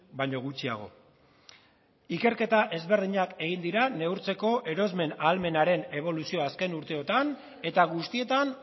baino gutxiago ikerketa ezberdinak egin dira neurtzeko erosmen ahalmenaren eboluzioa azken urteotan eta guztietan